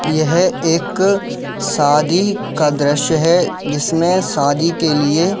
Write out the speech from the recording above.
यह एक शादी का दृश्य है जिसमें शादी के लिए --